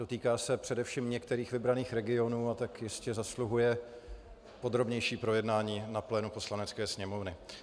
Dotýká se především některých vybraných regionů, a tak jistě zasluhuje podrobnější projednání na plénu Poslanecké sněmovny.